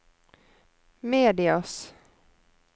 medias